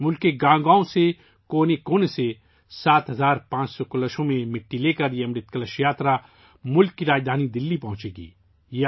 یہ امرت کلش یاترا ملک کے گاؤں گاؤں سے ، کونے کونے سے 7500 کلشوں میں مٹی لے کر ملک کی راجدھانی دلّی پہنچے گی